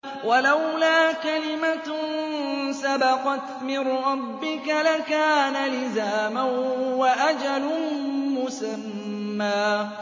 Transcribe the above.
وَلَوْلَا كَلِمَةٌ سَبَقَتْ مِن رَّبِّكَ لَكَانَ لِزَامًا وَأَجَلٌ مُّسَمًّى